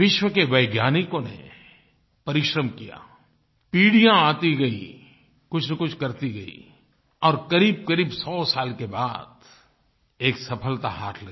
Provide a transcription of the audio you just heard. विश्व के वैज्ञानिकों ने परिश्रम किया पीढ़ियाँ आती गईं कुछनकुछ करती गईं और क़रीबक़रीब 100 साल के बाद एक सफलता हाथ लगी